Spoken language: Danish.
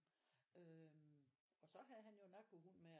Øh og så havde han jo narkohund med og